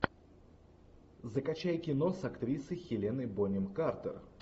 закачай кино с актрисой хеленой бонем картер